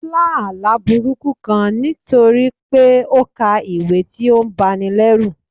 ó lá àlá burúkú kán nítorí pé ó ka ìwé tí ó ń báni lerù.